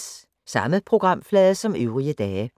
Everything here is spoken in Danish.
Samme programflade som øvrige dage